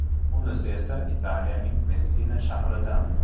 Bunisi esa Italiyaning Messina shahridan.